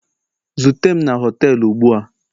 zute m na họtelu ugbua.